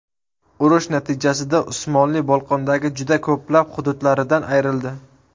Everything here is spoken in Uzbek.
Urush natijasida Usmonli Bolqondagi juda ko‘plab hududlaridan ayrildi.